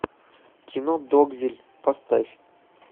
кино догвилль поставь